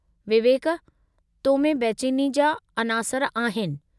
विवेक, तो में बैचेनी जा अनासर आहिनि।